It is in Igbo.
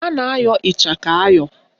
A na-ayọ ịchaka ayọ